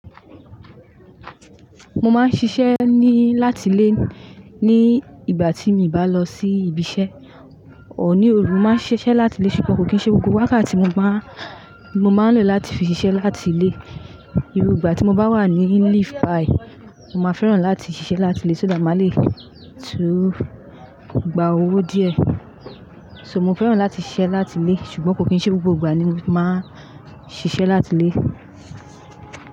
Mo máa ń ṣiṣẹ́ ni láti ilé ní ìgbà tí mi bá lọ sí ibi iṣẹ́, or ní òru. Mo máa ń ṣiṣẹ́ láti ilé ṣùgbọ́n kò kí n ṣe gbogbo wákàtí Mọ máa ń lọ láti fi ṣiṣẹ́ láti ilé. Irú ìgbà tí mo bá wà ní leave bayi, mọ máa fẹ́ràn láti ṣiṣẹ́ láti ilé só that má lè tún gba owó díẹ̀. So mọ fẹ́ràn láti ṣiṣẹ́ láti ilé ṣùgbọ́n kò kí n ṣe gbogbo ìgbà ni mo máa ń ṣiṣẹ́ láti ilé.